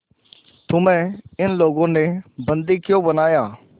तुम्हें इन लोगों ने बंदी क्यों बनाया